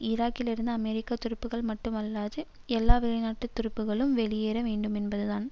ஈராக்கிலிருந்து அமெரிக்க துருப்புக்கள் மட்டுமல்லாது எல்லா வெளிநாட்டு துருப்புக்களும் வெளியேற வேண்டுமென்பது தான்